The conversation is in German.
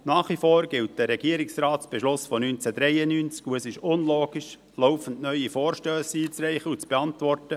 Nach wie vor gilt ein Regierungsratsbeschluss von 1993, und es ist unlogisch, laufend neue Vorstösse einzureichen und zu beantworten.